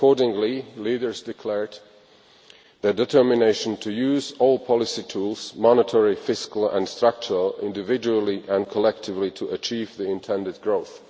Accordingly, leaders declared their determination to use all policy tools monetary, fiscal and structural individually and collectively to achieve the intended growth.